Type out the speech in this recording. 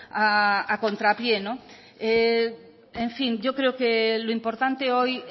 a contrapié en fin yo creo que lo importante hoy